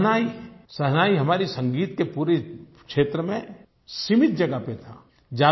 शहनाई शहनाई हमारे संगीत के पूरे क्षेत्र में सीमित जगह पर था